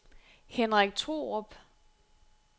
Henrik Thorup